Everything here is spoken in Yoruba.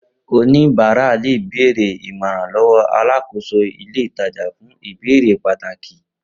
oníbàárà le bèèrè ìmọ̀ràn lowo alákòóso ilé ìtajà fún ìbéèrè pàtàki